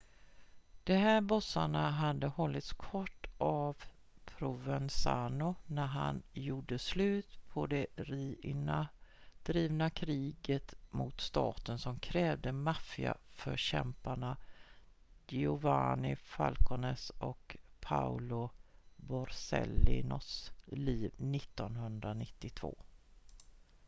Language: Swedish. de här bossarna hade hållits kort av provenzano när han gjorde slut på det riina-drivna kriget mot staten som krävde maffia-förkämparna giovanni falcones och paolo borsellinos liv 1992